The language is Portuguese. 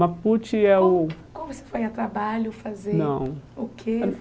Mapute é o... Como como você foi a trabalho, fazer não o quê?